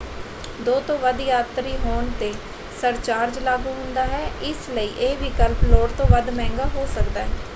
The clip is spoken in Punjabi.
2 ਤੋਂ ਵੱਧ ਯਾਤਰੀ ਹੋਣ ‘ਤੇ ਸਰਚਾਰਜ ਲਾਗੂ ਹੁੰਦਾ ਹੈ ਇਸਲਈ ਇਹ ਵਿਕਲਪ ਲੋੜ ਤੋਂ ਵੱਧ ਮਹਿੰਗਾ ਹੋ ਸਕਦਾ ਹੈ।